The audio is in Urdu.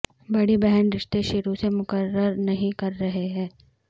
بڑی بہن رشتے شروع سے مقرر نہیں کر رہے ہیں